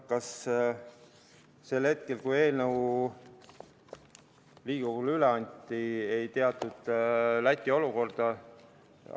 Kas sel hetkel, kui eelnõu Riigikogule üle anti, ei teatud Läti olukorda?